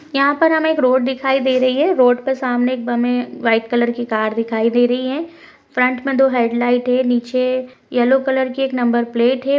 यहां पर हमें एक रोड दिखाई दे रही है रोड पे सामने एक हमें वाइट कलर की कार दिखाई दे रही है फ्रंट में दो हेडलाइट है नीचे येलो कलर की एक नंबर प्लेट है।